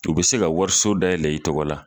U bɛ se ka wariso da yɛlɛ i tɔgɔ la.